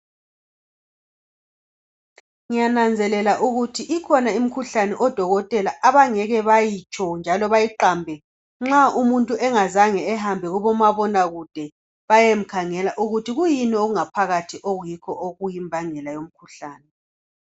Ngiyananzelela ukuthi ikhona imkhuhlane odokotela abangeke bayitsho njalo bayiqambe nxa umuntu engazange ehambe kumabona kude bayemkhangele ukuthi kuyini okungaphakathi okuyikho okuyimbangela yomkhuhlane.